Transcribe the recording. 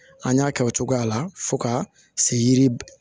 An y'a kɛ o cogoya la fo ka se yiri